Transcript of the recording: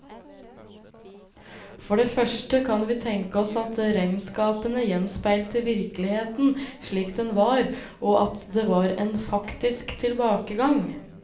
For det første kan vi tenke oss at regnskapene gjenspeilte virkeligheten slik den var, og at det var en faktisk tilbakegang.